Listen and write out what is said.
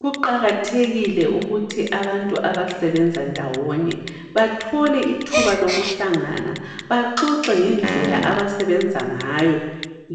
Kuqakathekile ukuthi abantu abasebenza ndawonye, bathole ithuba lokuhlangana baxoxe ngendlela abasebenza ngayo.